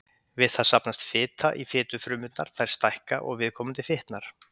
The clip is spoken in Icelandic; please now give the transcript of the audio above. Við það safnast fita í fitufrumurnar, þær stækka og viðkomandi fitnar.